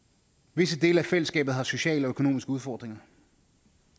visse dele af fællesskabet har sociale og økonomiske udfordringer